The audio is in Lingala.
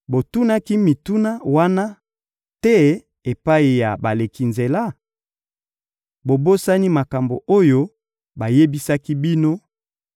Botunaki mituna wana te epai ya baleki nzela? Bobosani makambo oyo bayebisaki bino,